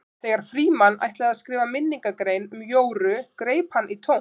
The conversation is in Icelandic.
Þegar Frímann ætlaði að skrifa minningargrein um Jóru greip hann í tómt.